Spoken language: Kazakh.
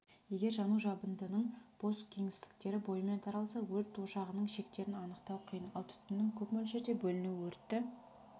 егер жану жабындының бос кеңістіктері бойымен таралса өрт ошағының шектерін анықтау қиын ал түтіннің көп мөлшерде бөлінуі өртті